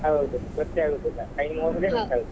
ಹೌದು ಗೊತ್ತೇ ಆಗುದಿಲ್ಲ time ಗೊತ್ತಾಗುದಿಲ್ಲ.